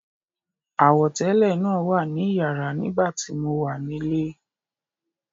Àwọ̀tẹ́lẹ̀ náà wà ní iyàrá nígbà tí mo wà nílé.